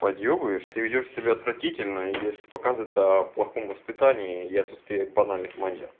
поддерживаешь ты ведёшь себя отвратительно если показывает в плохом воспитании и отсутствие банальных